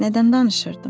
Nədən danışırdım?